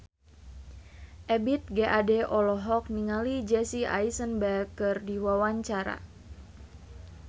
Ebith G. Ade olohok ningali Jesse Eisenberg keur diwawancara